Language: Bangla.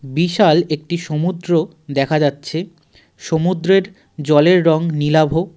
বিশাল একটি সমুদ্র দেখা যাচ্ছে সমুদ্রের জলের রং নীলাভ.